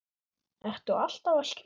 Ertu alltaf að skrifa?